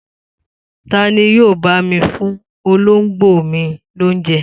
Ta ni yóò bá mi fún olóńgbò mi lóúnjẹ?